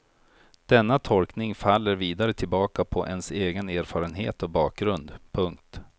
Denna tolkning faller vidare tillbaka på ens egen erfarenhet och bakgrund. punkt